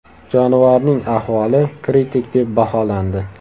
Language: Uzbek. Jonivorning ahvoli kritik deb baholandi.